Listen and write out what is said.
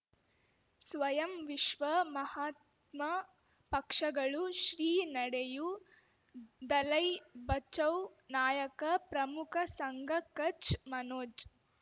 ಸ್ವಯಂ ವಿಶ್ವ ಮಹಾತ್ಮ ಪಕ್ಷಗಳು ಶ್ರೀ ನಡೆಯೂ ದಲೈ ಬಚೌ ನಾಯಕ ಪ್ರಮುಖ ಸಂಘ ಕಚ್ ಮನೋಜ್